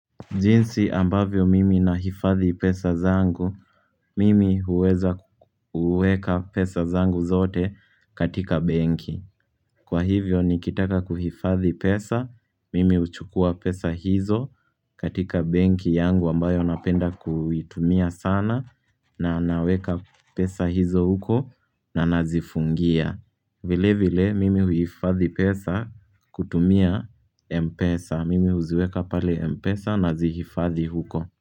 Jinsi ambavyo mimi na hifadhi pesa zangu, mimi huweza kuweka pesa zangu zote katika benki Kwa hivyo nikitaka kuhifadhi pesa, mimi uchukua pesa hizo katika benki yangu ambayo napenda kuitumia sana na naweka pesa hizo huko na nazifungia vile vile mimi huifadhi pesa kutumia Mpesa. Mimi huziweka pale Mpesa nazihifadhi huko.